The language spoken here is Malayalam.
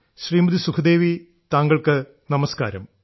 ശ്രീമതി സുഖ്ദേവി താങ്കൾക്ക് നമസ്കാരം